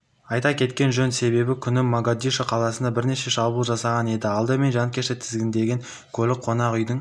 айта кеткен жөн сенбі күні могадишо қаласында бірнеше шабуыл жасалған еді алдымен жанкешті тізгіндеген көлік қонақүйдің